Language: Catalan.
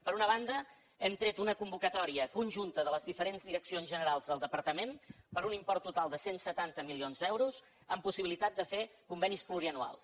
per una banda hem tret una convocatòria conjunta de les diferents direccions generals del departament per un import total de cent i setanta milions d’euros amb possibilitat de fer convenis pluriennals